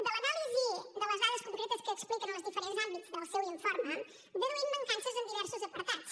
de l’anàlisi de les dades concretes que expliquen als diferents àmbits del seu informe deduïm mancances en diversos apartats